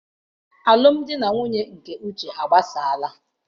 Alụmdi na nwunye nke Uche agbasaala.